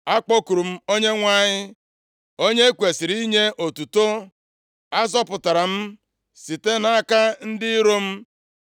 “Akpọkuru m Onyenwe anyị; onye e kwesiri inye otuto. Azọpụtara m site nʼaka ndị iro m.